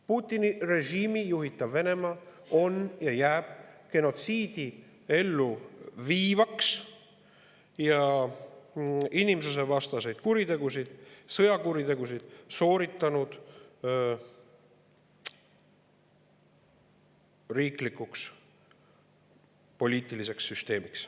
Putini režiimi juhitav Venemaa on ja jääb genotsiidi elluviijaks ning inimsusevastaseid sõjakuritegusid sooritanud riiklikuks poliitiliseks süsteemiks.